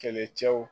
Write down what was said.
Kɛlɛcɛw